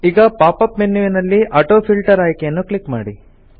ಈಗ pop up ಮೆನ್ಯುವಲ್ಲಿ autofilter ಆಯ್ಕೆಯನ್ನು ಕ್ಲಿಕ್ ಮಾಡಿ